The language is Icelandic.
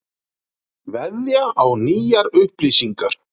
Veðja á nýjar upplýsingar